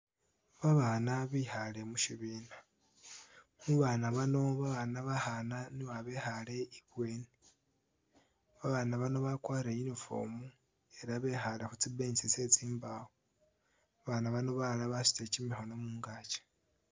Babaana bekhaale mushibina mubaana bano, babaana bekhaana nibo a'bekhaale i'bweni, babaana bano bakwalire uniform ela bekhaale khutsi bench tsetsi mbawo babaana bano balala basutile kimikhoono mungaki